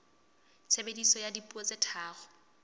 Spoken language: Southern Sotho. tshebediso ya dipuo tse tharo